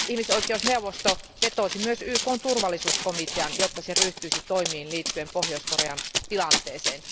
Ihmisoikeusneuvosto vetosi myös YKn turvallisuuskomiteaan, jotta se ryhtyisi toimiin liittyen Pohjois Korean tilanteeseen.